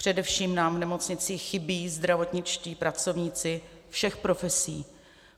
Především nám v nemocnicích chybí zdravotničtí pracovníci všech profesí.